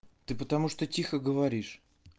ты потому что тихо говоришь